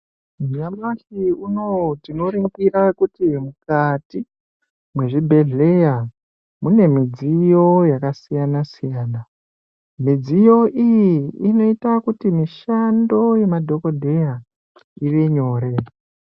Nyamashi unowu, tinoringira kuti mukati mwezvibhedhleya, mune midziyo yakasiyana-siyana. Midziyo iyi inoita kuti mishando yema dhokodheya, ive nyore.